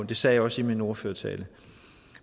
det sagde jeg også i min ordførertale